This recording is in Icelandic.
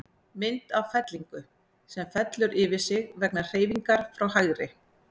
Mynd af fellingu, sem fellur yfir sig vegna hreyfingar frá hægri.